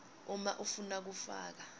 uma ufuna kufaka